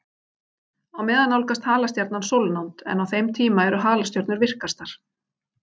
Á meðan nálgast halastjarnan sólnánd, en á þeim tíma eru halastjörnur virkastar.